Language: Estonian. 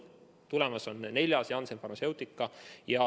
Tulemas on neljas, Janssen Pharmaceutica oma.